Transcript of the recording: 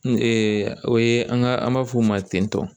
N o ye an ka an b'a fɔ o ma ten tɔ